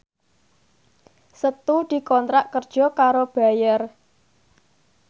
Setu dikontrak kerja karo Bayer